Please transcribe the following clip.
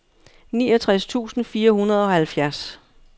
niogtres tusind fire hundrede og halvfjerds